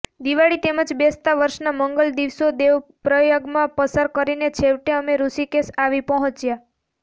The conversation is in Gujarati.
દિવાળી તેમજ બેસતા વર્ષના મંગલ દિવસો દેવપ્રયાગમાં પસાર કરીને છેવટે અમે ઋષિકેશ આવી પહોંચ્યા